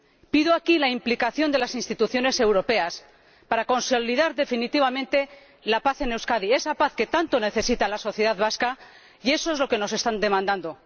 Pido aquí la implicación de las instituciones europeas para consolidar definitivamente la paz en Euskadi. Esa paz que tanto necesita la sociedad vasca, y eso es lo que nos están demandando.